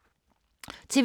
TV 2